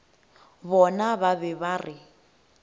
bona ba be ba re